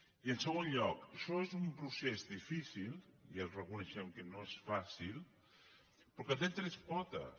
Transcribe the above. i en segon lloc això és un procés difícil ja reconeixem que no és fàcil però que té tres potes